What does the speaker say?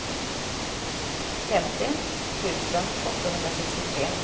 femtio tusen åttahundrasextiotre